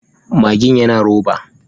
Magin yana roba.